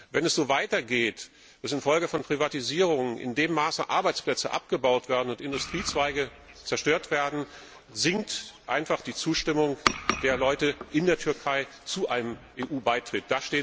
Wenn es so weitergeht, dass infolge von Privatisierungen in dem Maße Arbeitsplätze abgebaut und Industriezweige zerstört werden, sinkt einfach die Zustimmung der Menschen in der Türkei zu einem EU Beitritt.